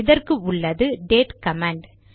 இதற்கு உள்ளது date command